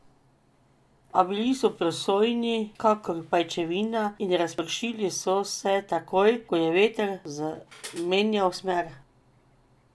A bili so prosojni kakor pajčevina in razpršili so se takoj, ko je veter zamenjal smer.